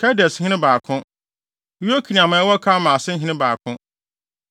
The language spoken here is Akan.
Kedeshene 2 baako 1 Yokneam a ɛwɔ Karmel ase hene 2 baako 1